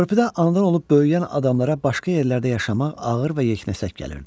Körpüdə anadan olub böyüyən adamlara başqa yerlərdə yaşamaq ağır və yeknəsək gəlirdi.